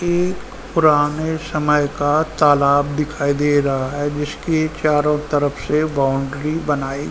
एक पुराने समय का तालाब दिखाई दे रहा है जिसके चारो तरफ़ से बाउण्ड्री बनाई --